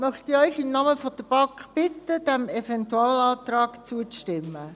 Deswegen möchte ich Sie im Namen der BaK bitten, diesem Eventualantrag zuzustimmen.